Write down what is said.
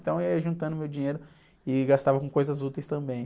Então, eu ia juntando o meu dinheiro e gastava com coisas úteis também.